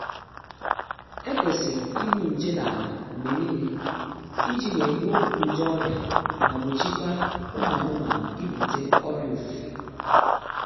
E kwesịrị igbu nje n'ala mgbe niile iji wee gbuo nje ọrịa ma gbochikwaa ụmụ anụmanụ ibute ọrịa ofufe